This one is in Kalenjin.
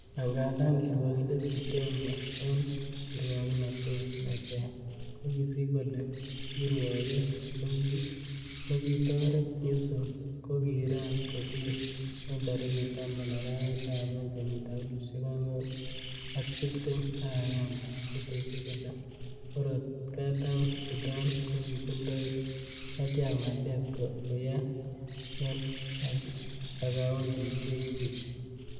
Angandan kirwokindet Chitembwe en kiruoknotet ne ter, kokosich kole kirwoket nekitoret Yu sung ko kiran kosir en tarigit taman arawetab oeng, kenyitab elfusiek oeng ak tibtem ak agenge, kotesyi kole murot Katam Sudan ko kitindoi katyaknatet koyai en akaondisiechik.